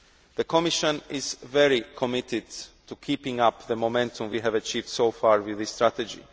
The Commission is very committed to keeping up the momentum we have achieved so far with this strategy.